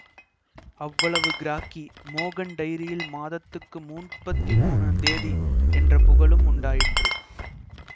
அவ்வளவு கிராக்கி மோகன் டைரியில் மாதத்துக்கு மூப்பத்தி மூனந்தேதி என்ற புகழும் உண்டாயிற்று